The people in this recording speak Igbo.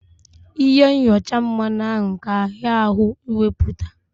Ịhe nyọcha mmanụ ahụ ka ahịa ahụ ị wepụta.